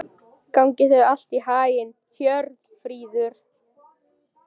Gangi þér allt í haginn, Hjörfríður.